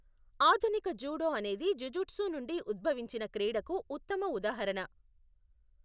ఆధునిక జూడో అనేది జుజుట్సు నుండి ఉద్భవించిన క్రీడకు ఉత్తమ ఉదాహరణ.